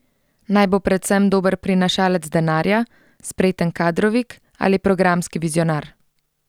Naj bo predvsem dober prinašalec denarja, spreten kadrovik ali programski vizionar?